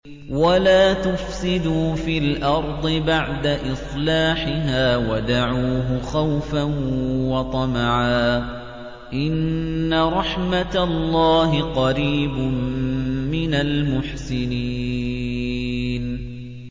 وَلَا تُفْسِدُوا فِي الْأَرْضِ بَعْدَ إِصْلَاحِهَا وَادْعُوهُ خَوْفًا وَطَمَعًا ۚ إِنَّ رَحْمَتَ اللَّهِ قَرِيبٌ مِّنَ الْمُحْسِنِينَ